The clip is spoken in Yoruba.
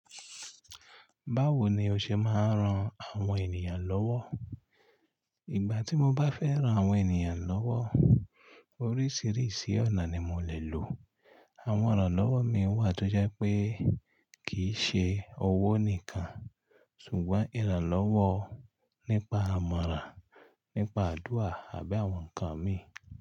Báwo ni o ṣe máa ń ran àwọn ènìyàn lọ́wọ́? Ìgbà tí mo bá fẹ́ ran àwọn ènìyàn lọ́wọ́, oríṣìíríṣìí ọ̀nà ni mo lè lò. Àwọn ìrànlọ́wọ́ mi wà tó jẹ́ pé kì í ṣe owó nìkan, ṣùgbọ́n ìrànlọ́wọ́ nípa àmọ̀rà, nípa àdúrà àbí àwọn nǹkan mi.